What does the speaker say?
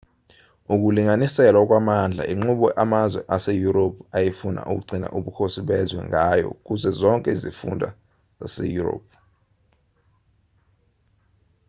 ukulinganiselwa kwamandla inqubo amazwe aseyurophu ayefuna ukugcina ubukhosi bezwe ngayo kuzo zonke izifunda zaseyurophu